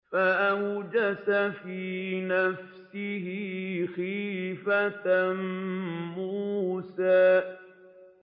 فَأَوْجَسَ فِي نَفْسِهِ خِيفَةً مُّوسَىٰ